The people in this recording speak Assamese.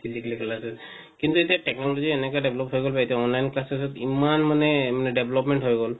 কিন্ত এতিয়া technology এনেকা develop হৈ গল বা এতিয়া online classes ত ইমান মানে development হৈ গল